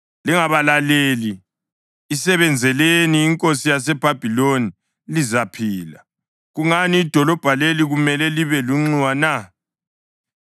Lingabalaleli. Isebenzeleni inkosi yaseBhabhiloni, lizaphila. Kungani idolobho leli kumele libe lunxiwa na?